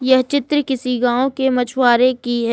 यह चित्र किसी गांव के मछुआरे की है।